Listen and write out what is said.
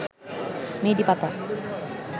মেহেদী পাতা